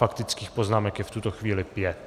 Faktických poznámek je v tuto chvíli pět.